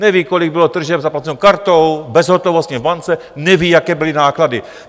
Neví, kolik bylo tržeb zaplaceno kartou, bezhotovostně v bance, neví, jaké byly náklady.